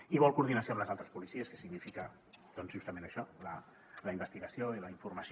i vol coordinació amb les altres policies que significa doncs justament això la investigació i la informació